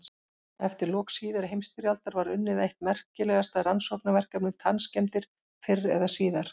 Eftir lok síðari heimsstyrjaldar var unnið eitt merkilegasta rannsóknarverkefni um tannskemmdir fyrr eða síðar.